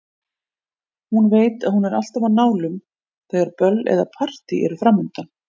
Hún veit að hún er alltaf á nálum þegar böll eða partí eru framundan.